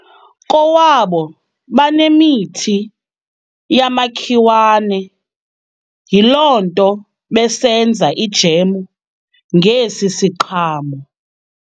Kowabo banemithi yamakhiwane yiloo nto besenza ijamu ngesi siqhamo.